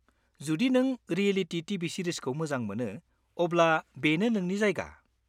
-जुदि नों reality TV सिरिजखौ मोजां मोनो अब्ला बेनो नोंनि जायगा।